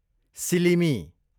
सिलिमी